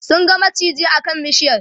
sun ga maciji a kan bishiyar